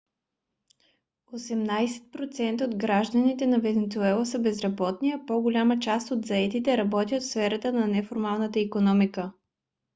осемнадесет процента от гражданите на венецуела са безработни а по-голямата част от заетите работят в сферата на неформалната икономика